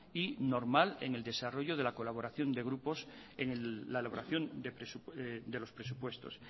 y normal en el desarrollo de colaboración de grupos en la elaboración de los presupuestos